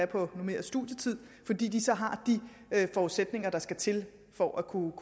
på normeret studietid fordi de så har de forudsætninger der skal til for at kunne